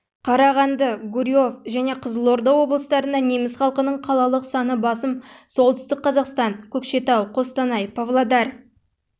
қарағанды гурьев және қызылорда облыстарында неміс халқының қалалық саны басым солтүстік қазақстан көкшетау қостанай павлодар